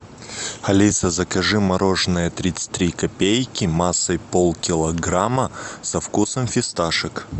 алиса закажи мороженое тридцать три копейки массой полкилограмма со вкусом фисташек